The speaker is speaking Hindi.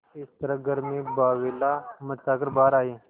इस तरह घर में बावैला मचा कर बाहर आये